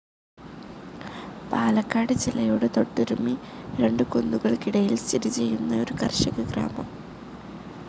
പാലക്കാട് ജില്ലയോട് തൊട്ടുരുമ്മി രണ്ടു കുന്നുകൾക്കിടയിൽ സ്ഥിതി ചെയ്യുന്ന ഒരു കർഷക ഗ്രാമം.